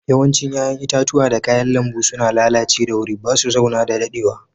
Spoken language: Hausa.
Yawancin yayan itatuwa da kayan lambu suna lallace da sauri. Ba su zauna da dadewa.